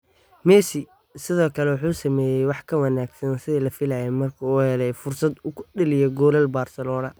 Messi sidoo kale wuxuu sameeyay wax ka wanaagsan sidii la filayay markii uu helay fursad uu ku dhaliyo goolal Barcelona.